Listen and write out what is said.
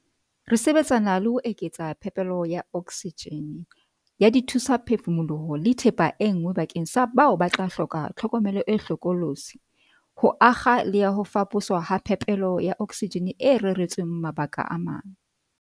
Re sebetsana le ho eketsa phepelo ya oksijene, ya dithu-saphefumoloho le thepa e nngwe bakeng sa bao ba tla hloka tlhokomelo e hlokolotsi, ho akga le ya ho faposwa ha phepelo ya oksijene e reretsweng mabaka a mang.